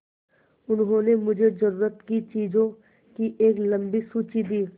उन्होंने मुझे ज़रूरत की चीज़ों की एक लम्बी सूची दी